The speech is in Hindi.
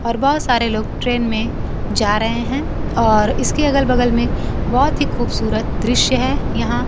हर बार सारे लोग ट्रेन में जा रहे हैं और इसके अगल बगल में बहोत ही खूबसूरत दृश्य है यहां--